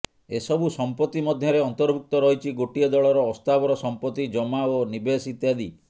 ଏସବୁ ସମ୍ପତ୍ତି ମଧ୍ୟରେ ଅନ୍ତର୍ଭୁକ୍ତ ରହିଛି ଗୋଟିଏ ଦଳର ଅସ୍ଥାବର ସମ୍ପତ୍ତି ଜମା ଓ ନିବେଶ ଇତ୍ୟାଦି